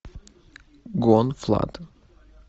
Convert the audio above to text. гон флад